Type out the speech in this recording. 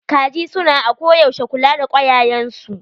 Kaji su na ako yaushe kula da kwayayen su.